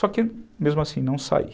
Só que mesmo assim não saí.